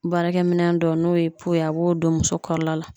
Baarakɛminɛn dɔw n'o ye ye a b'o don muso kɔrɔla la.